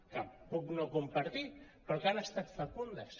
que puc no compartir però que han estat fecundes